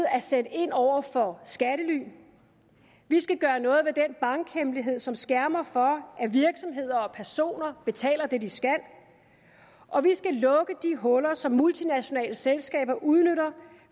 at sætte ind over for skattely vi skal gøre noget ved den bankhemmelighed som skærmer for at virksomheder og personer betaler det de skal og vi skal lukke de huller som multinationale selskaber udnytter